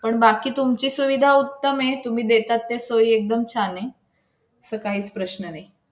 आपल्या जेवणाचा कार्यक्रम सकाळच्या चालणार की दुपारपर्यंत.